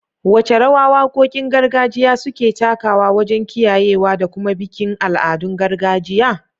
Wace rawa wakokin gargajiya suke takawa wajen kiyayewa da kuma bikin al'adun gargajiya?